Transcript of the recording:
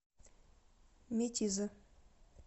метизы